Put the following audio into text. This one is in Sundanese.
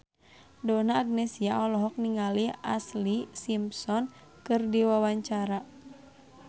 Donna Agnesia olohok ningali Ashlee Simpson keur diwawancara